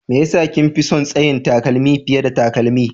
Me ya sa kin fi son tsayin takalmi fiye da takalmi?